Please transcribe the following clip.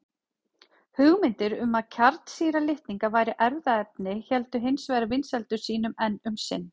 Hugmyndir um að kjarnsýra litninga væri erfðaefni héldu hins vegar vinsældum sínum enn um sinn.